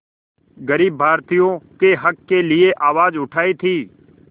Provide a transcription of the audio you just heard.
ग़रीब भारतीयों के हक़ के लिए आवाज़ उठाई थी